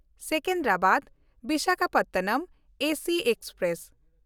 ᱥᱮᱠᱮᱱᱫᱨᱟᱵᱟᱫ–ᱵᱤᱥᱟᱠᱷᱟᱯᱚᱴᱱᱚᱢ AC express